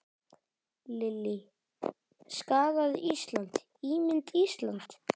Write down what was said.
Lillý: Skaðað Ísland, ímynd Íslands?